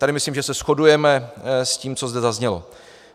Tady myslím, že se shodujeme s tím, co zde zaznělo.